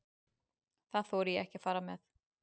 Það þori ég ekki að fara með.